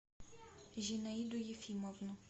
зинаиду ефимовну